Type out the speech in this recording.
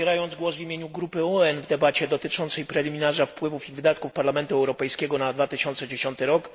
Zabierając głos w imieniu grupy UEN w debacie dotyczącej preliminarza wpływów i wydatków Parlamentu Europejskiego na 2010 r.